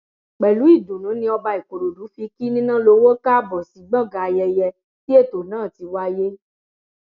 pẹlú ìdùnnú ni ọba ìkòròdú fi kí nínàlọwọ káàbọ sí gbọngàn ayẹyẹ tí ètò náà ti wáyé